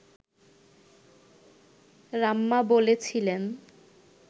রাম্যা বলছিলেন